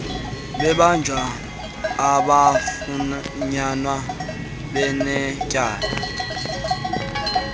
bebanjwa abakafunyaniswa benetyala